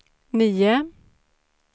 nio